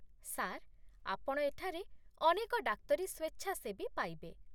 Sir, ଆପଣ ଏଠାରେ ଅନେକ ଡାକ୍ତରୀ ସ୍ୱେଚ୍ଛାସେବୀ ପାଇବେ।